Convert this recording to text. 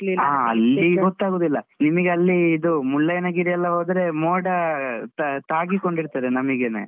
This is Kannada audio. ಹಾ ಅಲ್ಲಿ ಗೊತಾಗುದಿಲ್ಲ. ನಿಮ್ಗೆ ಅಲ್ಲಿ ಇದೂ ಮುಳ್ಳಯ್ಯನ ಗಿರಿ ಎಲ್ಲ ಹೋದ್ರೆ ಮೋಡ ತಾ~ ತಾಗಿಕೊಂಡಿರ್ತದೆ ನಮಿಗೆನೆ.